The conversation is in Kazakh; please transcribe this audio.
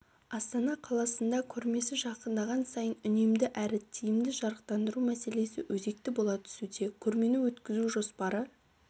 астана қаласында көрмесі жақындаған сайын үнемді әрі тиімді жарықтандандыру мәселесі өзекті бола түсуде көрмені өткізу жоспары